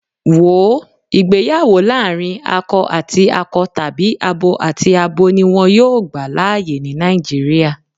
Wòó, ìgbéyàwó láàrín akọ àti akọ tàbí abo àti abo ni wón yóò gbà láyè ni Nàìjíríà.